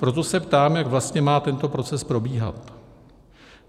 Proto se ptám, jak vlastně má tento proces probíhat.